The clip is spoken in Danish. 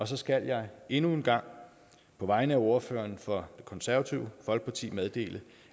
så skal jeg endnu en gang på vegne af ordføreren for det konservative folkeparti meddele